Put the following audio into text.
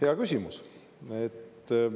Hea küsimus.